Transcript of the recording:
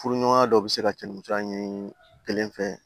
Furuɲɔgɔnya dɔw bɛ se ka cɛnni ɲini kelen fɛ